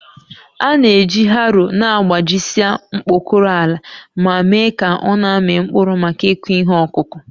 A na-eji harrow na-agbajisịa mkpọkọrọ ala ma mee ka ọ na-amị mkpụrụ maka ịkụ ihe ọkụkụ